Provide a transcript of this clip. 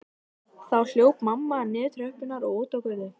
Þá hljóp mamma niður tröppurnar og út á götu.